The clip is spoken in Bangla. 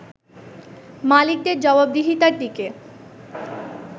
মালিকদের জবাবদিহিতার দিকে